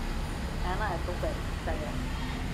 Ena je Toper iz Celja.